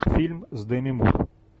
фильм с деми мур